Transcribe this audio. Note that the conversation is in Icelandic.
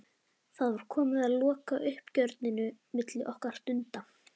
Það var komið að lokauppgjörinu milli okkar Dunda.